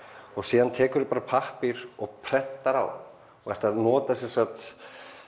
og síðan tekurðu bara pappír og prentar á og ert að nota sem sagt